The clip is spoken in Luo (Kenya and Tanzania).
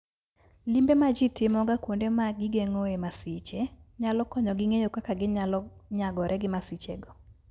Limbe ma ji timoga kuonde ma gigeng'oe masiche, nyalo konyogi ng'eyo kaka ginyalo nyagore gi masichego.